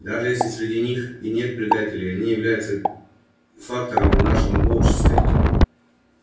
даже если среди них и нет предателей они являются фактором в нашем обществе